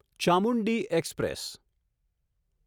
Chamundi express